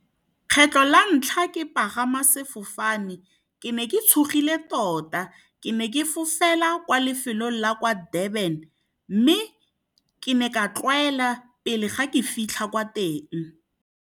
Kgetlho la ntlha ke pagama sefofane, ke ne ke tshogile tota. Ke ne ke fofela kwa lefelong la kwa Durban, mme ke ne ka tlwaela pele ga ke fitlha kwa teng.